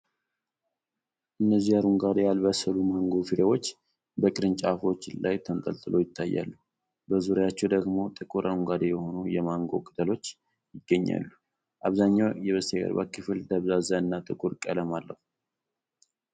እነዚህ አረንጓዴ፣ ያልበሰሉ ማንጎ ፍሬዎች በቅርንጫፎች ላይ ተንጠልጥለው ይታያሉ። በዙሪያቸው ደግሞ ጥቁር አረንጓዴ የሆኑ የማንጎ ቅጠሎች ይገኛሉ። አብዛኛው የበስተጀርባው ክፍል ደብዛዛ እና ጥቁር ቀለም አለው።